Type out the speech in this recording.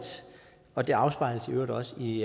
og det afspejles i øvrigt også i